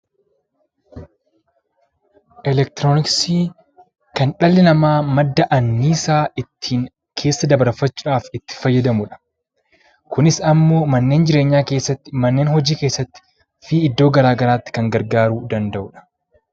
Eleektirooniksiin kan dhalli namaa ittiin madda anniisaa keessa dabarfachuudhaaf itti fayyadamudha. Kunis immoo mana jireenyaa keessatti, manneen hojii keessatti fii iddo gara garaatti kan gargaaruu danda’udha.